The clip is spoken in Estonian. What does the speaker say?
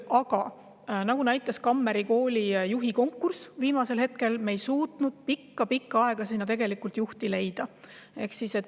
Aga nagu Kammeri Kooli juhi konkurss näitas: me ei suutnud sinna pikka-pikka aega juhti leida.